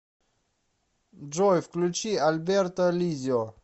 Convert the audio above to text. джой включи альберто лиззио